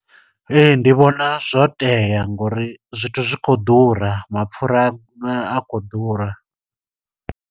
Ee, ndi vhona zwo tea ngo uri zwithu zwi khou ḓura. Mapfura a khou ḓura.